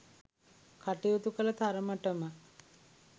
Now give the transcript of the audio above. කටයුතු කළ තරමට ම